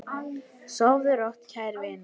Sofðu rótt, kæri vinur.